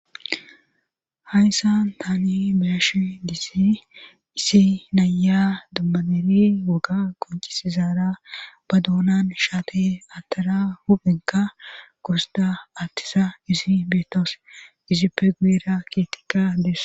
hayissan taani beyashe dizay issimaca naya dummabeeri woga qoncisizaara ba doonan shaate attara huphenka gursida attisa izi beetoos izippe guuera kietika des